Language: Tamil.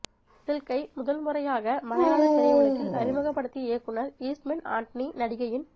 சில்க்கை முதல் முறையாக மலையாளத் திரையுலகில் அறிமுகப்படுத்திய இயக்குனர் ஈஸ்ட்மென் ஆண்டனி நடிகையின்